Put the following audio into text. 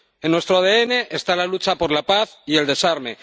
En nuestro ADN está la lucha por la paz y el desarme.